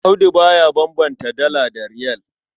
Audu ba ya bambanta Dala da Riyal.